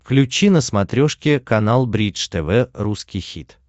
включи на смотрешке канал бридж тв русский хит